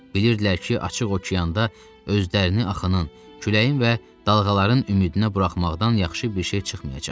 Bilirdilər ki, açıq okeanda özlərini axının, küləyin və dalğaların ümidinə buraxmaqdan yaxşı bir şey çıxmayacaq.